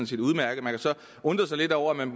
undre sig lidt over at man